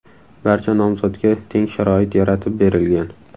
Barcha nomzodga teng sharoit yaratib berilgan.